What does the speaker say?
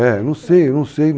É. Não sei, não sei.